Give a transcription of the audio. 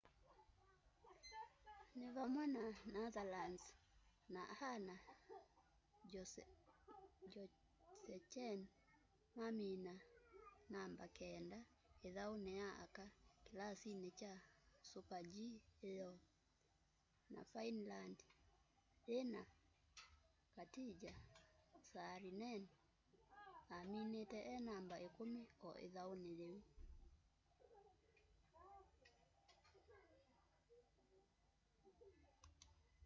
ni vamwe na netherlands na anna jochemsen mamina namba keenda ithauni ya aka kilasini kya super-g iyoo na finland yina katja saarinen aminite e namba ikumi o ithauni yiu